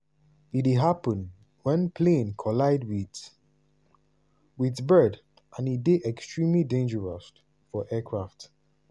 e dey happun wen plane collide wit wit bird and e dey extremely dangerous for aircraft.